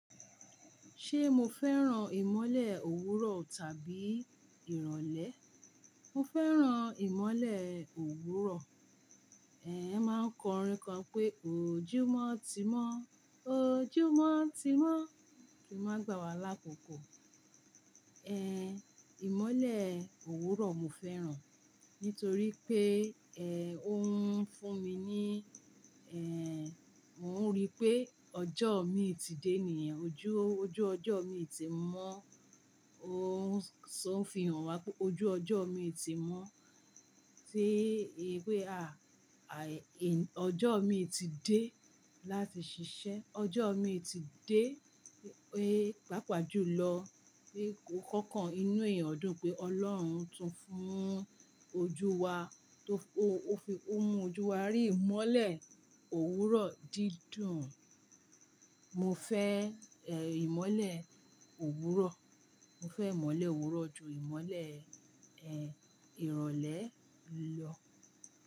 Ṣé mo fẹ́ràn ìmọ́lẹ̀ òwúrọ̀ tàbí ìrọ̀lẹ́? Mo fẹ́ràn ìmọ́lẹ̀ òwúrọ̀. Ẹ̀ẹ́ máa ń kọ orin kan pé, ojúmọ́ ti mọ́, ojúmọ́ ti mọ́, kìí máa gbà wá lákòókò. Ẹ̀ẹ́ ìmọ́lẹ̀ òwúrọ̀ mo fẹ́ràn, nítorí pé ẹ̀ o òun ń fún mi ní, ẹ́ẹ̀ ò mo rí pé ọjọ́ mi ti dé ni ẹ́n ojú ojú ọjọ́ mi ti mọ́. Ó ń so o fihàn wá pé ojú ọjọ́ mi ti mọ́ tí ìwé a-a-in ọjọ́ mi ti dé láti ṣiṣẹ́, ọjọ́ mi ti dé, ẹ́ pàápàá jùlọ. Bí nkankan inú èèyàn dùn pé Ọlọ́run tún fún ojú wa tó o fi, ó mú ojú wa rí ìmọ́lẹ̀ òwúrọ̀ dídùn. Mo fẹ́ ẹ̀ ìmọ́lẹ̀ òwúrọ̀, mo fẹ́ ìmọ́lẹ̀ òwúrọ̀ ju ìmọ́lẹ̀ ẹ́ ìrọ̀lẹ́ lọ.